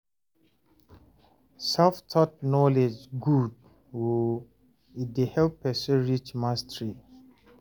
self- taught knowledge good o, e dey help person reach mastery